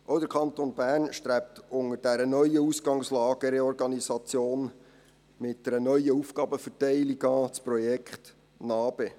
Auch der Kanton Bern strebt unter dieser neuen Ausgangslage eine Reorganisation mit einer neuen Aufgabenverteilung an, mit dem Projekt NA-BE.